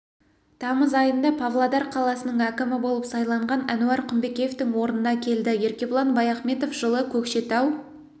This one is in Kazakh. тамыз айында павлодар қаласының әкімі болып сайланған әнуар құмпекеевтің орнына келді еркебұлан баяхметов жылы көкшетау